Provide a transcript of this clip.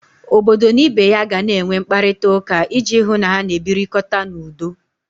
Obodo na ibe ya gana enwe mkparịtauka iji hụ na ha na-ebirikọta n'udo.